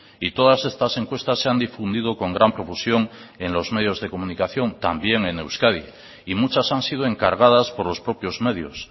y todas estas encuestas se han difundido con gran profusión en los medios de comunicación también en euskadi y muchas han sido encargadas por los propios medios